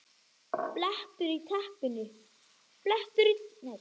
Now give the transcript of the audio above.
BLETTUR Í TEPPINU